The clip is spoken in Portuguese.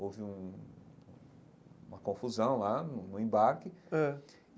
Houve uma confusão lá no embarque ãh.